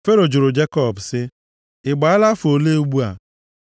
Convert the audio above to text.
Fero jụrụ Jekọb sị, “Ị gbaala afọ ole ugbu a?”